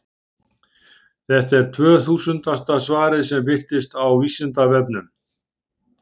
Þetta er tvöþúsundasta svarið sem birtist á Vísindavefnum.